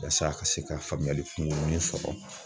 Yasa a ka se ka faamuyali kungurunin sɔrɔ